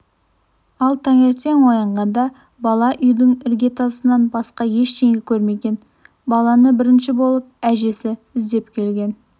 ал таңертең оянғанда бала үйдің іргетасынан басқа ештеңе көрмеген баланы бірінші болып әжесі іздеп келген